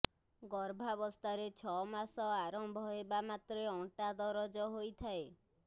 ଗର୍ଭାବସ୍ଥାରେ ଛଅମାସ ଆରମ୍ଭ ହେବା ମାତ୍ରେ ଅଣ୍ଟା ଦରଜ ହୋଇଥାଏ